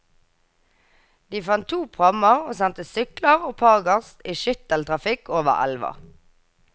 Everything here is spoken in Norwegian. De fant to prammer, og sendte sykler og pargas i skytteltrafikk over elva.